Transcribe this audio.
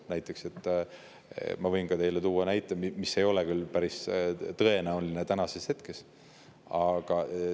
Ma võin teile tuua näite, mille ei ole täna küll päris tõenäoline.